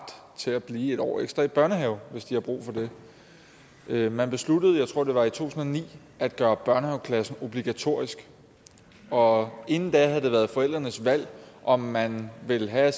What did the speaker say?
til at blive en år ekstra i børnehave hvis de har brug for det man besluttede jeg tror det var i to tusind og ni at gøre børnehaveklassen obligatorisk og inden da havde det været forældrenes valg om man ville have at